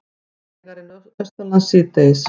Hægari Norðaustanlands síðdegis